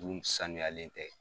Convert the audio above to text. Du in sanuyalen tɛ.